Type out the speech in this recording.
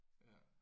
Ja